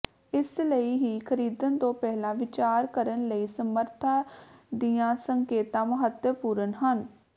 ਇਸ ਲਈ ਹੀ ਖਰੀਦਣ ਤੋਂ ਪਹਿਲਾਂ ਵਿਚਾਰ ਕਰਨ ਲਈ ਸਮਰੱਥਾ ਦੀਆਂ ਸੰਕੇਤਾਂ ਮਹੱਤਵਪੂਰਣ ਹਨ